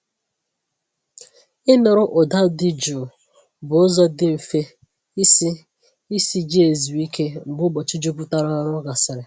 Ịnụrụ ụda dị jụụ bụ ụzọ dị mfe isi isi ji ezu ike mgbe ụbọchị juputara ọrụ gasịrị.